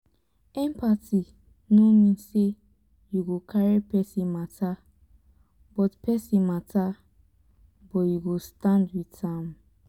empathy no mean sey you go carry pesin mata but pesin mata but you go stand wit am.